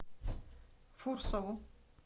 фурсову